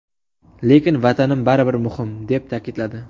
Lekin Vatanim baridan muhim!” deb ta’kidladi.